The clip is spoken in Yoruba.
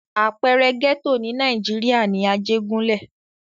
Àpẹẹrẹ gẹ́tò ní Nàìjíríà ni Ajégúnlẹ̀.